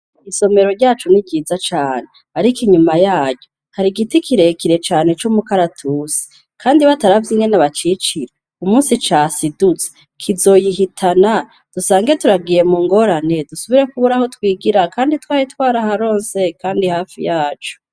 Isomero ryacu ni ryiza cane ariko inyuma yaryo hari igiti kirekire cane c'umukaratusi Kandi bataravye ingene bacicira umunsi casidutse kizoyihitana dusange turagiye mu ngorane dusubire kubura aho twigira Kandi twari twaraharonse kandi hafi yacu.